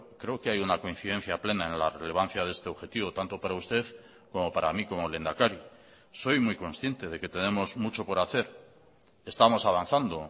creo que hay una coincidencia plena en la relevancia de este objetivo tanto para usted como para mí como lehendakari soy muy consciente de que tenemos mucho por hacer estamos avanzando